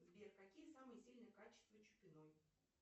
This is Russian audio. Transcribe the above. сбер какие самые сильные качества чупиной